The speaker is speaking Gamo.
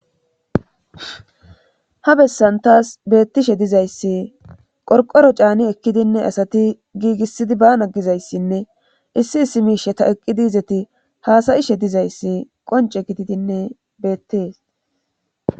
ha bessanvtas beettishe dizayssi qorqoro caani ekkidinne asati giigissidi baana gizayssinne issi issi miisheta eqqi diizeti haasayishe dizayssi qonce gididinne beettees